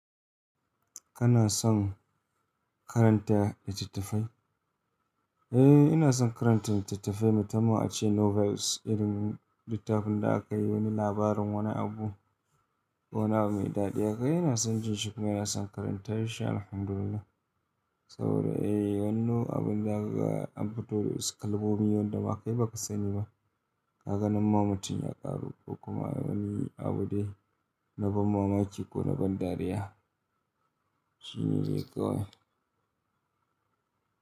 Kana son karanta littattafai? Eh, ina son karanta littattafai, matama ace novels irin littafin da aka yi wani labarin wani abu, wani abu mai daɗi. Hakai ina son jin shi kuma ina son karanta shi alhamdulillah. Saboda eh wani abu da aka rubuta dawasu kalmomi wanda ba kai ba ka sani ba. Kaga nan mah mutun ya ƙaru kuma wani abu dai na ban mamaki ko na ban dariya. Shine dai kawai.